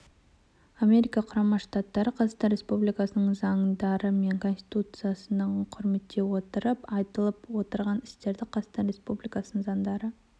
америка құрама штаттары қазақстан республикасының заңдары мен институттарының құрметтей отырып айтылып отырған істерді қазақстан республикасының заңдары